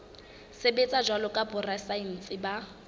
sebetsa jwalo ka borasaense ba